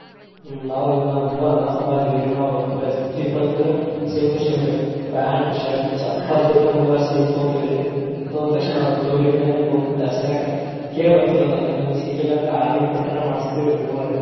ಹ್ಮ್ ನಾವ್ ಇನ್ನು ನಾವ್ ಮೂವರ್ ಅಣ್ಣ, ತಮ್ಮ ಇದ್ದಿವ್ರಿ ನಾವ್ dress ದೀಪಾವಳಿಗ ತೊಗೊಂಡ್ರೆ same to same ರಿ pant, shirt, chappal ಸಮೇತ ಮೂವರು same ತುಗೊಂತಿವ್ರಿ. ತುಗೊಂದ ತಕ್ಷಣ ಜೋಡಿ ಮ್ಯಾಲೆ ತುಗೊಂದಿರ್ತೆವ ಕೇಳಿ ಬರ್ತೆವ್ರಿ ಒಂದ ಅದ್ನ ನಮ್ಗ ಸಿಗ್ಲಿಲ್ಲ ಅಂದ್ರ order ಕೊಟ್ಟಾದ್ರು ಮಾಡಸ್ತೇವ್ರಿ ಮೂವರು.